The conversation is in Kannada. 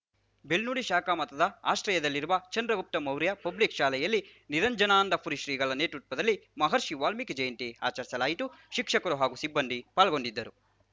ಬೆಳ್ಳೂಡಿ ಶಾಖಾ ಮಠದ ಆಶ್ರಯದಲ್ಲಿರುವ ಚಂದ್ರಗುಪ್ತ ಮೌರ್ಯ ಪಬ್ಲಿಕ್‌ ಶಾಲೆಯಲ್ಲಿ ನಿರಂಜನಾನಂದಪುರಿ ಶ್ರೀಗಳ ನೇತೃತ್ವದಲ್ಲಿ ಮಹರ್ಷಿ ವಾಲ್ಮೀಕಿ ಜಯಂತಿ ಆಚರಿಸಲಾಯಿತು ಶಿಕ್ಷಕರು ಹಾಗೂ ಸಿಬ್ಬಂದಿ ಪಾಲ್ಗೊಂಡಿದ್ದರು